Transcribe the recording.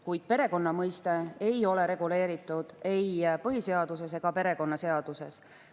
Kuid perekonna mõiste ei ole reguleeritud ei põhiseaduses ega perekonnaseaduses.